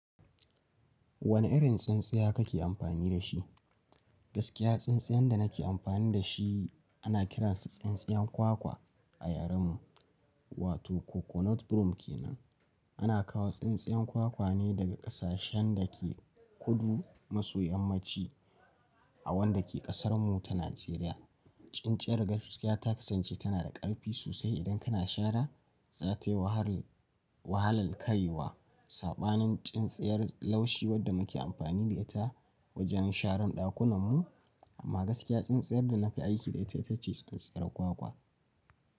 Wane irin tsintsaya kake amfani da shi? Gaskiya tsintsayan da nake amfani da shi ana kiransa tsintsayan kwakwa a yaren mu, wato coconut broom kenan. Ana kawo tsintsayan kwakwa ne daga ƙasashen da ke kudu maso yammaci a wanda ke ƙasar mu ta Najeriya. Tsintsiyar gaskiya ta kasance tana da ƙarfi sosai idan kana shara, satewa har wahalar kayiwa. Saɓanin tsintsiyar laushi wadda muke amfani da ita wajen sharan dakunan mu amma gaskiya tsintsiyar da na fi aiki da ita ita ce tsintsiyar kwakwa.